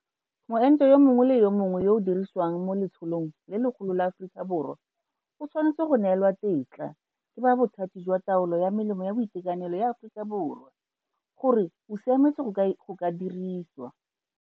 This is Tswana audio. Moento yo mongwe le yo mongwe yo o dirisiwang mo letsholong le legolo la Aforika Borwa o tshwanetse go neelwa tetla ke ba Bothati jwa Taolo ya Melemo ya Boitekanelo ya Aforika Borwa gore o siametse go ka diriwiswa.